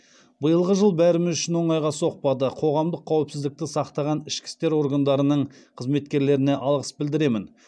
биылғы жыл бәріміз үшін оңайға соқпады қоғамдық қауіпсіздікті сақтаған ішкі істер органдарының қызметкерлеріне алғыс білдіремін